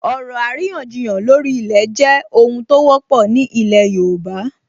Ọ̀rọ̀ àríyànjiyàn lórí ilẹ̀ jẹ́ ohun tó wọ́pọ̀ ní ilẹ̀ yóòbá